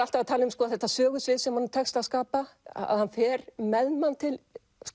alltaf að tala um þetta sögusvið sem honum tekst að skapa að hann fer með mann til